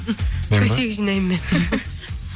төсек жинаймын мен